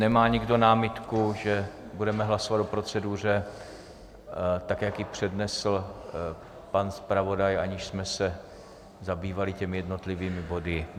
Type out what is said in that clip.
Nemá nikdo námitku, že budeme hlasovat o proceduře tak, jak ji přednesl pan zpravodaj, aniž jsme se zabývali těmi jednotlivými body?